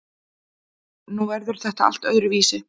Nú verður þetta allt öðruvísi.